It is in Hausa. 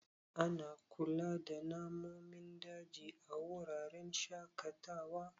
Ana kula da nanomin daji a wuraren shaƙatawa.